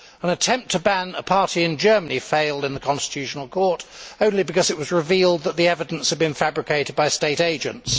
An attempt to ban a party in Germany failed in the constitutional court, only because it was revealed that the evidence had been fabricated by state agents.